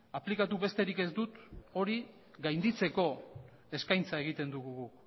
aplikatu besterik ez dut hori gainditzeko eskaintza egiten dugu guk